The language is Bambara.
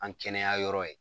An kɛnɛya yɔrɔ ye